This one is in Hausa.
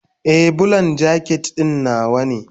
Ee, Bulan jaket ɗin nawa ne.